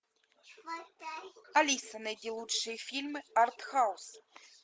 алиса найди лучшие фильмы арт хаус